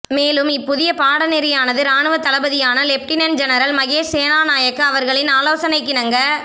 மேலும் இப் புதிய பாடநெறியானது இராணுவத் தளபதியான லெப்டினன்ட் ஜெனரல் மகேஷ் சேனாநாயக்க அவர்களின் ஆலோசனைக்கிணங்க